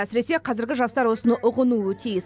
әсіресе қазіргі жастар осыны ұғынуы тиіс